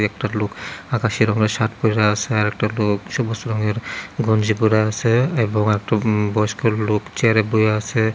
একটা লোক আকাশি রংয়ের শার্ট পইরা আসে আরেকটা লোক সবুজ রঙের গঞ্জি পইরা আসে এবং একটু বয়স্ক লোক চেয়ারে বইয়া আসে।